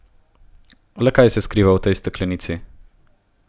Le kaj se kriva v tej steklenici?